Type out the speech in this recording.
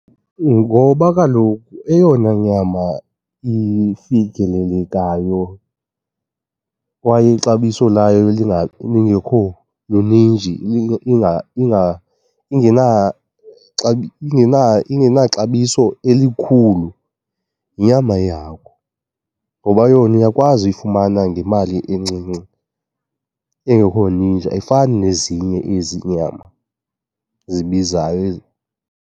Ngoba kaloku eyona nyama ifikelelekayo kwaye ixabiso layo lingekho luninji, ingenaxabiso elikhulu yinyama yeyahagu. Ngoba yona uyakwazi uyifumana ngemali encinci, engekho ninji, ayifani nezinye ezi iinyama zibizayo .